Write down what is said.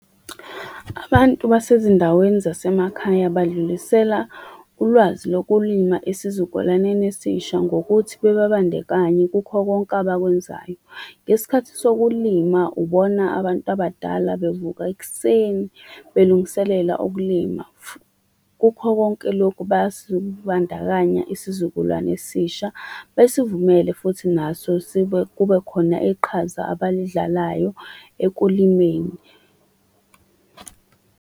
Abantu basezindaweni zasemakhaya badlulisela ulwazi lokulima esizukulwaneni esisha ngokuthi bebabandekanye kukho konke abakwenzayo. Ngesikhathi sokulima ubona abantu abadala bevuka ekuseni belungiselela ukulima . Kukho konke lokhu bayasibandakanya isizukulwane esisha besivumele futhi naso sibe, kube khona iqhaza abalidlalayo ekulimeni.